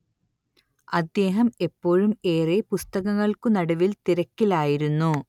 അദ്ദേഹം എപ്പോഴും ഏറെ പുസ്തകങ്ങൾക്കുനടുവിൽ തിരക്കിലായിരുന്നു